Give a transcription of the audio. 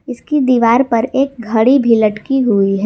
इसकी दीवार पर एक घड़ी भी लटकी हुई है।